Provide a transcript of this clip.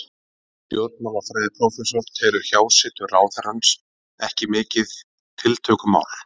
Stjórnmálafræðiprófessor telur hjásetu ráðherrans ekki mikið tiltökumál.